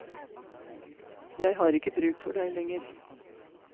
Jeg har ikke bruk for deg lenger.